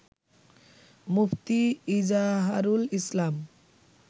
মুফতি Izharul ইসলাম